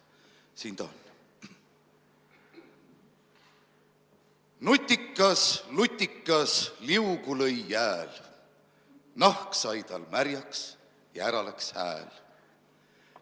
Siin ta on: Nutikas lutikas liugu lõi jääl, nahk sai tal märjaks ja ära läks hääl.